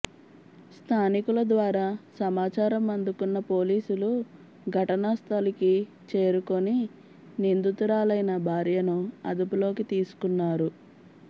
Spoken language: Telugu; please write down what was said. స్థానికుల ద్వారా సమాచారం అందుకున్న పోలీసులు ఘటనాస్థలికి చేరుకుని నిందితురాలైన భార్యను అదుపులోకి తీసుకున్నారు